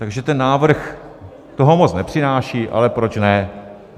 Takže ten návrh toho moc nepřináší, ale proč ne.